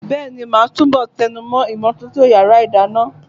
Bẹ́ẹ̀ni, màá túbọ̀ tẹnumọ́ ìmọ́tótó yàrá ìdáná.